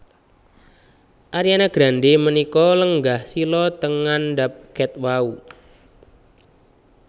Ariana Grande menika lenggah sila teng ngandhap ket wau